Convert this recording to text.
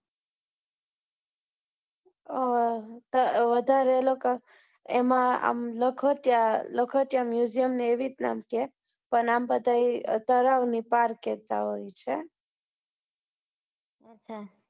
અ વધારે એ લોકો લ્ખ્ય્તા લ્ખ્ત્યા museum ને એવી રીત નાં છે પણ આમ બધા એ તળાવ ની park એ જવાનું છે.